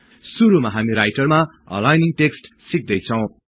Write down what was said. सुरुमा हामी राईटरमा अलाईनिङ टेक्सट् सिक्दै छौँ